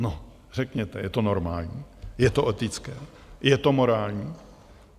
No řekněte, je to normální, je to etické, je to morální?